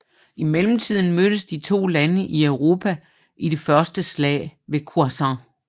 I mellemtiden mødtes de to lande i Europa i det første slag ved Ouessant